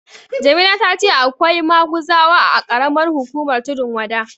Jamila ta ce akwai maguzawa a ƙaramar hukumar Tundun Wada.